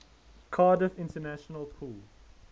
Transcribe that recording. cardiff international pool